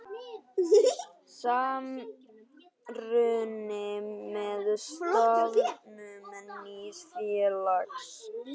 Samruni með stofnun nýs félags.